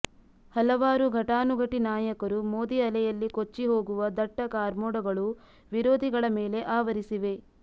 ಹಲವಾರು ಘಟಾನುಘಟಿ ನಾಯಕರು ಮೋದಿ ಅಲೆಯಲ್ಲಿ ಕೊಚ್ಚಿ ಹೋಗುವ ದಟ್ಟ ಕಾರ್ಮೋಡಗಳು ವಿರೋಧಿಗಳ ಮೇಲೆ ಆವರಿಸಿವೆ